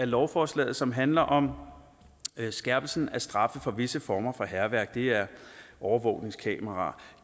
lovforslaget som handler om skærpelse af straffen for visse former for hærværk det er overvågningskameraer